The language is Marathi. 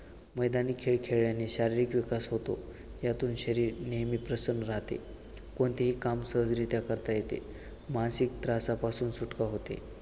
मैदानी खेळ खेळल्याने शारीरिक विकास होतो यातून शरीर नेहमी प्रसन्न राहते. कोणतेही काम सहजरीत्या करता येते. मानसिक त्रासापासून सुटका होते